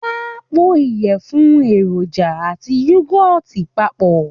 Wọ́n á po ìyẹ̀fun, èròjà àti yúgọ́ọ̀tì papọ̀